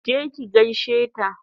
Ki je ki gaishe ta!